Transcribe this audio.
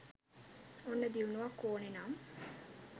ඔන්න දියුණුවක් ඕනෙ නම්